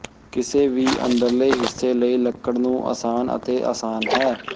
ਕਿਸੇ ਵੀ ਅੰਦਰਲੇ ਹਿੱਸੇ ਲਈ ਲੱਕੜ ਨੂੰ ਆਸਾਨ ਅਤੇ ਆਸਾਨ ਹੈ